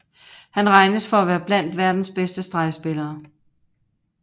Han regnes for at være blandt verdens bedste stregspillere